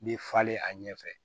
Bɛ falen a ɲɛfɛ